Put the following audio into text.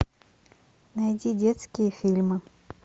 найди детские фильмы